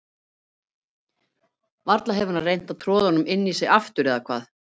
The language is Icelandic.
Varla hefur hann reynt að troða honum inn í sig aftur, eða hvað?